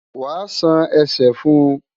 Wàá ṣan ẹsẹ̀ fún un!